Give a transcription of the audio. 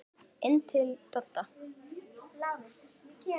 Inn til Dodda.